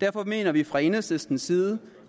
derfor mener vi fra enhedslistens side